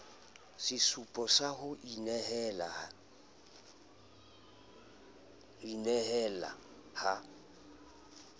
sesupo sa ho inehela ha